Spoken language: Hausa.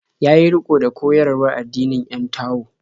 Ya yi riƙo da koyarwar addinin 'yan Tao.